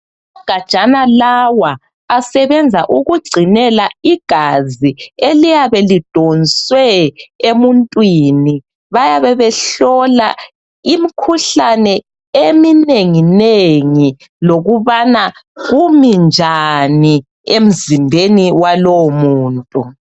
Amagajana la asebenza ukugcinela igazi eliyabe lidonswe emuntwini. Bayabe behlola imikhuhlane eminenginengi lokuba kume njani emzimbeni walowomuntu.